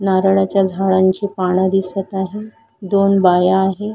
नारळाच्या झाडांची पान दिसत आहे दोन बाया आहे.